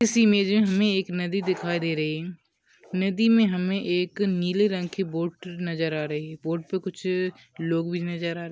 इस इमेज में हमें एक नदी दिखाई दे रही है नदी में हमें एक नीले रंग की बोट नजर आ रही है बोट पर कुछ लोग भी नजर आ रहा है।